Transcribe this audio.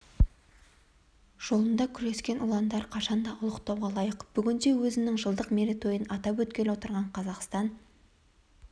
жолында күрескен ұландар қашан да ұлықтауға лайық бүгінде өзінің жылдық мерейтойын атап өткелі отырған қазақстан